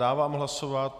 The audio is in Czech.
Dávám hlasovat...